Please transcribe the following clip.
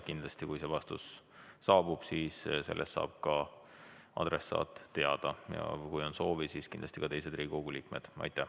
Kindlasti, kui see vastus saabub, siis saab adressaat sellest teada, ja kui on soovi, siis ka teised Riigikogu liikmed.